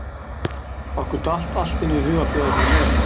Okkur datt allt í einu í hug að bjóða þér með.